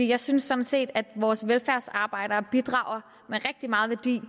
jeg synes sådan set at vores velfærdsarbejdere bidrager med rigtig